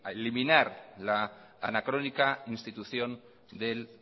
eliminar la anacrónica institución del